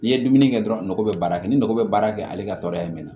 N'i ye dumuni kɛ dɔrɔn nogo bɛ baara kɛ ni nɔgɔ bɛ baara kɛ ale ka tɔɔrɔya mɛnna